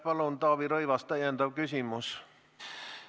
Palun, Taavi Rõivas, täpsustav küsimus!